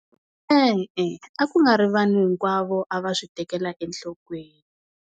E-e, a ku nga ri vanhu hinkwavo a va swi tekela enhlokweni.